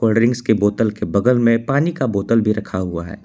Drinks की बोतल के बगल में पानी का बोतल भी रखा हुआ है।